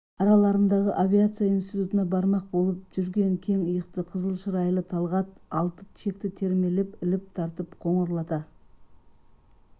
араларындағы авиация институтына бармақ болып жүрген кең иықты қызыл шырайлы талғат алты шекті термелеп іліп-тартып қоңырлата